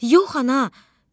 Yox, ana!